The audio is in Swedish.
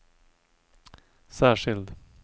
särskild